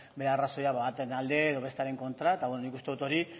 bere arrazoiak baten alde edo bestearen kontra eta beno nik uste dut hori